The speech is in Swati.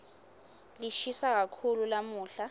lishisa kakhulu lamuhla